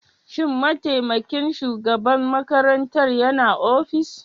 Shin mataimakin shugaban makarantar yana ofis?